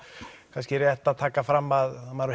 kannski rétt að taka það fram að maður